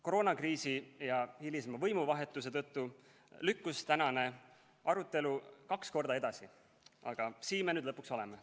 Koroonakriisi ja hilisema võimuvahetuse tõttu lükkus tänane arutelu kaks korda edasi, aga siin me nüüd lõpuks oleme.